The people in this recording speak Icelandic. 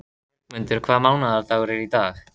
Bjargmundur, hvaða mánaðardagur er í dag?